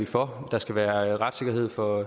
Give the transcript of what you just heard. for der skal være retssikkerhed for